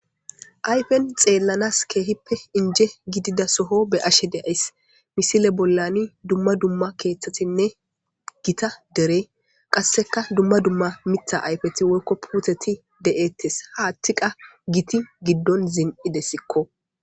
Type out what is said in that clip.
Ayfen xeellanas keehippe inje gidida soho be ashe deays misile bollani dumma dumma keeththatinne gita derey qasseka dumma dumma mita ayfeti woykko puuteti de7ettes haattiqa giti giddon zin7idessikko